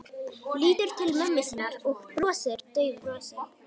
Lítur til mömmu sinnar og brosir daufu brosi.